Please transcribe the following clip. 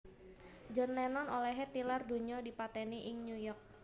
John Lennon olèhé tilar donya dipatèni ing New York